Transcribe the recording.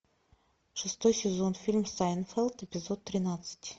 шестой сезон фильм сайнфелд эпизод тринадцать